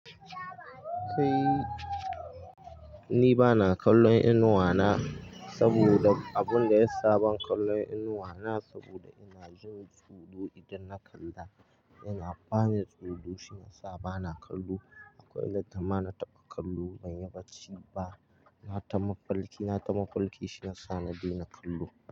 Kai, ni ba na kallon inuwa na saboda abun da ya sa ban kalla inuwa na saboda ina jin tsoro idan na kalla. Ina bani tsoro shine sa bana kallo. Akwai latta ma na taɓa kallo ban yi bacci ba. Na ta mafalki, na ta mafalki shiyasa na daina kallo.